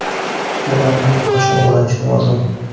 Bular allaqachon ulg‘ayishi lozim.